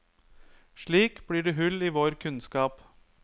Slik blir det hull i vår kunnskap.